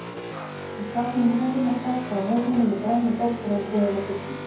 Hann sat með húfuna skakka á höfðinu með grænu flöskuna við hliðina á disknum.